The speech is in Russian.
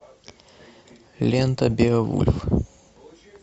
лента беовульф